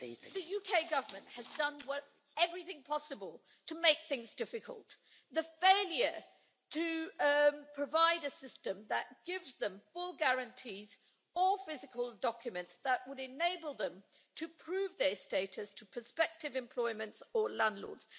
The UK Government has done everything possible to make things difficult. It has failed to provide a system that gives them full guarantees, or physical documents that would enable them to prove their status to prospective employers or landlords.